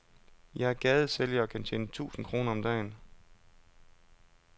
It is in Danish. Jeg er gadesælger og kan tjene tusind kroner om dagen.